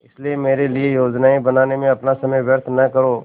इसलिए मेरे लिए योजनाएँ बनाने में अपना समय व्यर्थ न करो